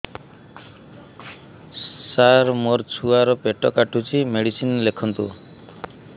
ସାର ମୋର ଛୁଆ ର ପେଟ କାଟୁଚି ମେଡିସିନ ଲେଖନ୍ତୁ